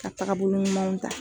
Ka tagabolo ɲumanw ta